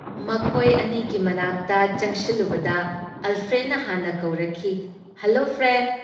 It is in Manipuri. ꯃꯈꯣꯏ ꯑꯅꯤꯒꯤ ꯃꯅꯥꯛꯇ ꯆꯪꯁꯤꯜꯂꯨꯕꯗ ꯑꯜꯐ꯭ꯔꯦꯗꯅ ꯍꯥꯟꯅ ꯀꯧꯔꯛꯈꯤ -"ꯍꯜꯂꯣ ꯐ꯭ꯔꯦꯟ꯫ "